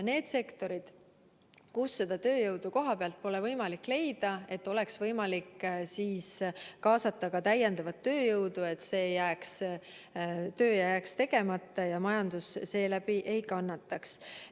Nendes sektorites, kus seda tööjõudu kohapealt pole võimalik leida, peaks olema võimalik kaasata täiendavat tööjõudu, et see töö ei jääks tegemata ja majandus seeläbi ei kannataks.